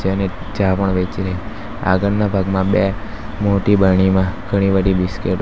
અને ચા પણ વેચે રહ્યા આગળના ભાગમાં બે મોટી બરણીમાં ઘણી બધી બિસ્કીટો --